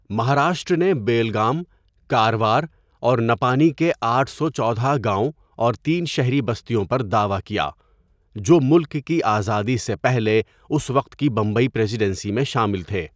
مہاراشٹر نے بیلگام، کاروار اور نپانی کے آٹھ سو چودہ گاؤں اور تین شہری بستیوں پر دعویٰ کیا، جو ملک کی آزادی سے پہلے اس وقت کی بمبئی پریزیڈنسی میں شامل تھے۔